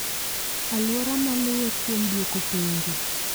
Aluora maluwe kuom duoko penjo